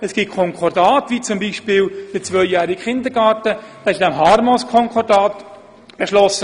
Und es gibt auch Konkordate, beispielsweise wurde der zweijährige Kindergarten im HarmoS-Konkordat beschlossen.